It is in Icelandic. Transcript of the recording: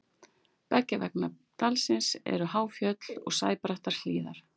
beggja vegna dalsins eru há fjöll og sæbrattar hlíðar